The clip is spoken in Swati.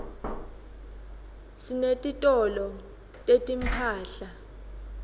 sinetitolo setimphahla